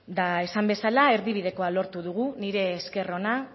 eta esan bezala erdibidekoa lortu dugu nire esker ona